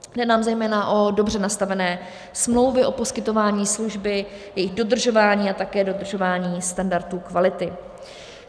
Jde nám zejména o dobře nastavené smlouvy o poskytování služby, jejich dodržování a také dodržování standardů kvality.